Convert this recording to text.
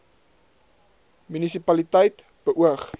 munisi paliteit beoog